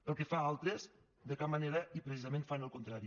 pel que fa a altres de cap manera i precisament fan el contrari